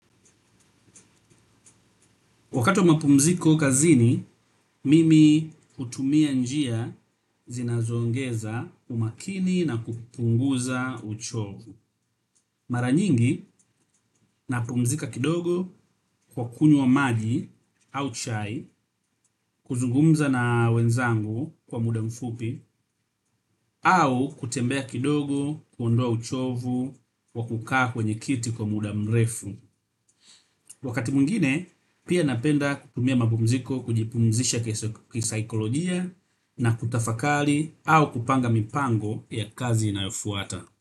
Wakati wa mapumziko kazini, mimi hutumia njia zinazoongeza umakini na kupunguza uchovu. Mara nyingi, napumzika kidogo kwa kunywa maji au chai kuzungumza na wenzangu kwa muda mfupi au kutembea kidogo kuondoa uchovu wa kukaa kwenye kiti kwa muda mrefu. Wakati mwingine, pia napenda kutumia mapumziko kujipumzisha kisaikolojia na kutafakari au kupanga mipango ya kazi inayofuata.